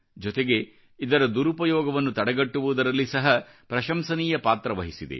ಜೊತೆಗೆ ಇದರ ದುರುಪಯೋಗವನ್ನು ತಡೆಗಟ್ಟವುದರಲ್ಲಿ ಸಹ ಪ್ರಶಂಸನೀಯ ಪಾತ್ರ ವಹಿಸಿದೆ